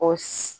O